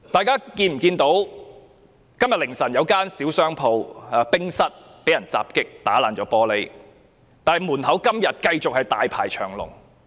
今天凌晨時分，有一間小商戶經營的餐廳被損毀玻璃，但店外依然大排長龍。